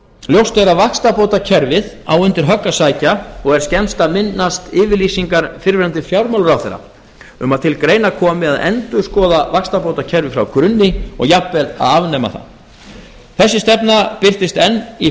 ljóst er að vaxtabótakerfið á undir högg að sækja og er skemmst að minnast yfirlýsingar fyrrverandi fjármálaráðherra um að til greina komi að endurskoða vaxtabótakerfið frá grunni og jafnvel að afnema það þessi stefna birtist enn í